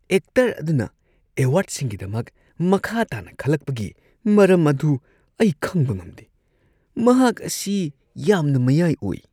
Actor ꯑꯗꯨꯅ ꯑꯦꯋꯥꯔꯗꯁꯤꯡꯒꯤꯗꯃꯛ ꯃꯈꯥ ꯇꯥꯅ ꯈꯜꯂꯛꯄꯒꯤ ꯃꯔꯝ ꯑꯗꯨ ꯑꯩ ꯈꯪꯕ ꯉꯝꯗꯦ ꯫ ꯃꯍꯥꯛ ꯑꯁꯤ ꯌꯥꯝꯅ ꯃꯌꯥꯏ ꯑꯣꯏ ꯫